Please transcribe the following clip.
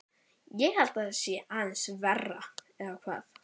Ég held að það sé aðeins verra, eða hvað?